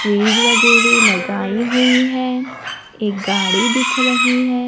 Fridge वगैरह लगाई हुई है एक गाड़ी दिख रही है।